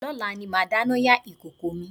Lọ́la ni màá dáná yá ìkòkò mi